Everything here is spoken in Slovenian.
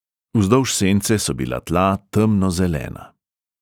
Vzdolž sence so bila tla temnozelena.